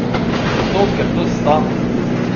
Zato, ker to stane!